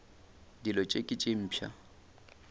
dilo tše ke tše mpsha